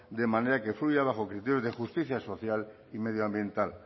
de manera que fluya bajo criterios de justicia social y medioambiental